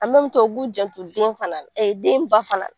An u b'u janto den fana la, ee den ba fana la.